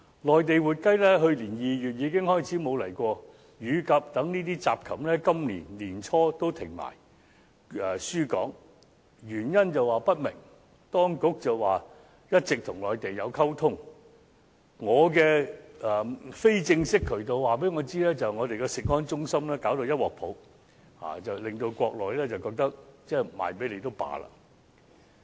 內地活雞自去年2月已經沒有供港，乳鴿等雜禽在今年年初也停止輸港，箇中原因不明，當局只表示一直有與內地溝通，而我從非正式的渠道得知，我們的食安中心弄到一團糟，令國內覺得不出售給香港也罷了。